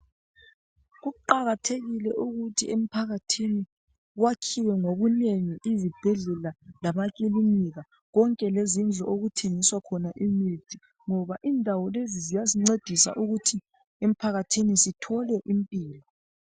Kuqakathekile ukuthi emphakathini kwakhiwe ngobunengi izibhedlela lamakilinika konke lezindlu okuthengiswa khona imithi ngoba indawo lezi ziyasincedisa ukuthi emphakathini sithole impilo.